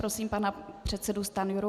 Prosím, pana předsedu Stanjuru.